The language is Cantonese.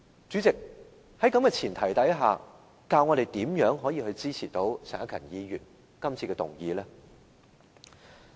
主席，在這前提下，教我們如何能夠支持陳克勤議員今次提出的議案？